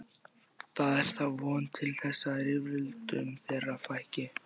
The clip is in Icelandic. Það er þá von til þess að rifrildum þeirra fækki.